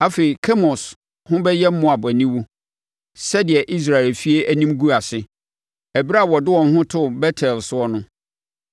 Afei Kemos ho bɛyɛ Moab aniwu, sɛdeɛ Israel efie anim guu ase ɛberɛ a wɔde wɔn ho too Bet-El soɔ no.